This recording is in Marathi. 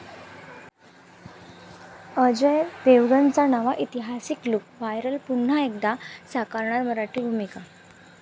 अजय देवगणचा नवा ऐतिहासिक लुक व्हायरल, पुन्हा एकदा साकारणार मराठी भूमिका